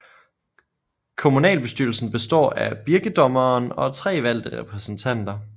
Communalbestyrelsen bestaar af Birkedommeren og 3 valgte Repræsentanter